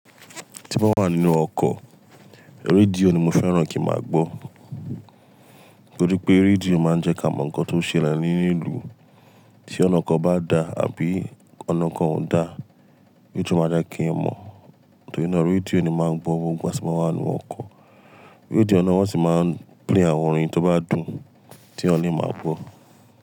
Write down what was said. Tí mba wà nínú ọkọ̀, rédíò ni mo fẹ́ràn kí máa gbọ́. Torí pé rédíò máa ń jẹ́ ká mọ nǹkan tó ń ṣẹlẹ̀ nínú ìlú. Tí ọ̀nà kan bá da àbí ọ̀nà kan ò da, redio máa je kí ẹ mọ̀. Torí náà rédíò ni màá ń gbọ́ gbogbo ìgbà tí mo ba wà nínú ọkọ̀. Rédíò na wọ́n sì máa ń play àwọn orin tó bá dùn t'èèyàn máa gbọ́